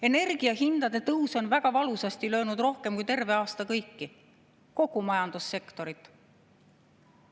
Energiahindade tõus on väga valusasti löönud rohkem kui terve aasta kõiki, kogu majandussektorit.